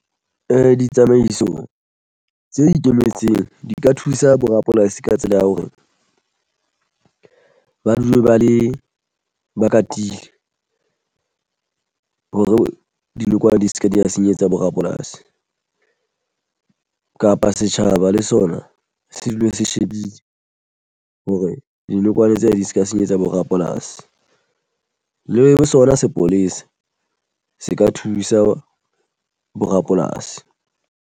Ditsamaiso tse ikemetseng di ka thusa bo rapolasi ka tsela ya hore ba dule ba le ba katile hore dinokwane di se ke di ya senyetsa bo rapolasi kapa setjhaba le sona se dule se shebile hore dinokwane tsena di se ka senyetsa bo rapolasi le bo sona sepolesa se ka thusa bo rapolasi.